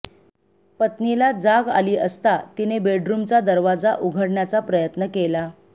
पत्नीला जाग आली असता तिने बेडथूमचा दरवाजा उघडण्याचा प्रयत्न केला